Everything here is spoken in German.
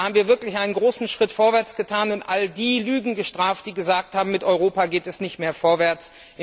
Da haben wir wirklich einen großen Schritt vorwärts getan und all diejenigen Lügen gestraft, die gesagt haben, mit Europa geht es nicht mehr vorwärts.